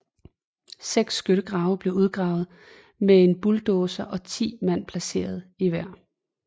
Seks skyttegrave blev udgravet med en bulldozer og 10 mand placeret i hver